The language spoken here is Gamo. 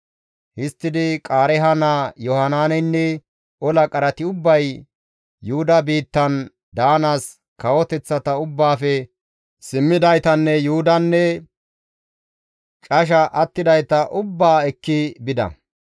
Histtidi Qaareeha naa Yohanaaneynne ola qarati ubbay Yuhuda biittan daanaas kawoteththata ubbaafe simmidaytanne Yuhudanne casha attidayta ubbaa ekki bida.